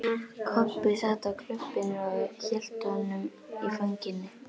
Kobbi sat á klöppinni og hélt á honum í fanginu.